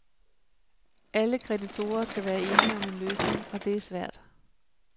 Alle kreditorer skal være enige om en løsning, og det er svært.